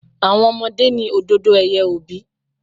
Àwọn Ọmọ ni òdòdó ẹ̀yẹ òbí.